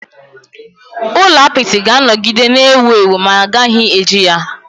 Ụlọ apịtị ga-anọgide na-ewu ewu ma a gaghị eji ya.